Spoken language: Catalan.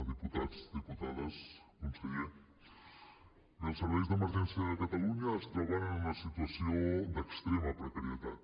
diputats diputades conseller bé els serveis d’emergències de catalunya es troben en una situació d’extrema precarietat